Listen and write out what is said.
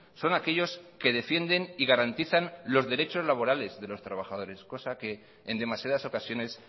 son aquellos que defienden y garantizan los derechos laborales de los trabajadores cosa que en demasiadas ocasiones